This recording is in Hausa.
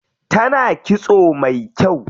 Tana kitso mai kyau.